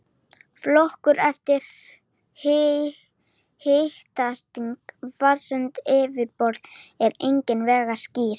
Flokkun eftir hitastigi vatnsins á yfirborði er engan veginn skýr.